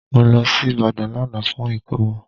Mo lọ sí Ìbàdàn lánàá fún ìkómọ